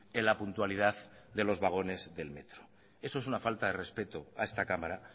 en la puntualidad de los vagones del metro eso es una falta de respeto a esta cámara